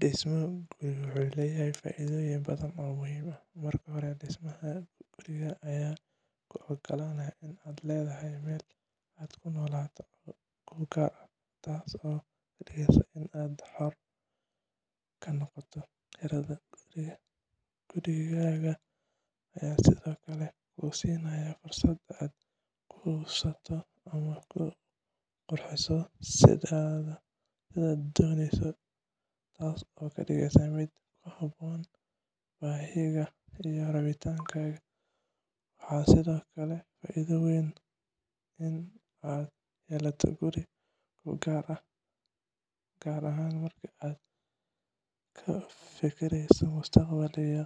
Dhismo guri wuxuu leeyahay faa'iidooyin badan oo muhiim ah. Marka hore, dhismaha gurigaaga ayaa kuu ogolaanaya inaad leedahay meel aad ku noolaato oo kuu gaar ah, taasoo ka dhigeysa inaad xor ka noqoto kirada guriga. Gurigaaga ayaa sidoo kale kuu siinaya fursad aad ku habeyso ama ku qurxiso sidaad dooneyso, taasoo ka dhigeysa mid ku habboon baahiyahaaga iyo rabitaankaaga. Waxaa sidoo kale faa'iido weyn ah in aad yeelato guri kuu gaar ah, gaar ahaan marka aad ka fekereyso mustaqbalka iyo